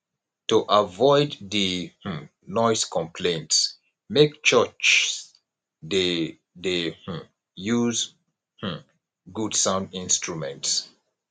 to avoid di um noise conplaints make churchs de de um use um good sound instruments